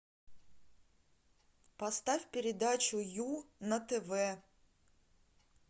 поставь передачу ю на тв